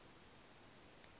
hu d o t od